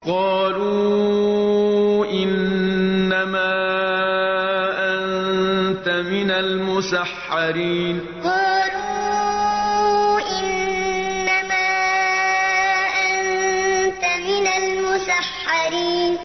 قَالُوا إِنَّمَا أَنتَ مِنَ الْمُسَحَّرِينَ قَالُوا إِنَّمَا أَنتَ مِنَ الْمُسَحَّرِينَ